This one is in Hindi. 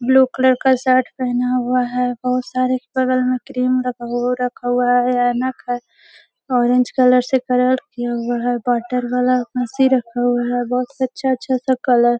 ब्लू कलर का शर्ट पहना हुआ है। बहोत सारे बगल में क्रीम वो रखा हुआ है ऐनक है। ऑरेंज कलर से कलर किया हुआ है। वॉटर वाला ए.सी. रखा हुआ है। बहोत अच्छा-अच्छा सब कलर --